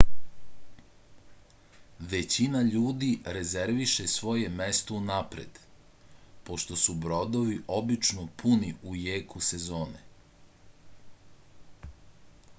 већина људи резервише своје место унапред пошто су бродови обично пуни у јеку сезоне